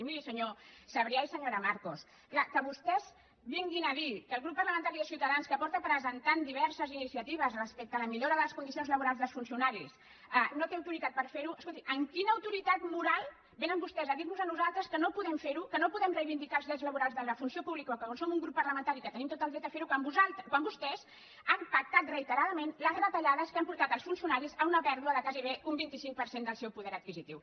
i mirin senyor sabrià i senyora marcos clar que vostès vinguin a dir que el grup parlamentari de ciutadans que ha presentat diverses iniciatives respecte a la millora de les condicions laborals dels funcionaris no té autoritat per fer ho escolti amb quina autoritat moral vénen vostès a dir nos a nosaltres que no podem fer ho que no podem reivindicar els drets laborals de la funció pública quan som un grup parlamentari que tenim tot el dret a fer ho quan vostès han pactat reiteradament les retallades que han portat els funcionaris a una pèrdua de gairebé un vint cinc per cent del seu poder adquisitiu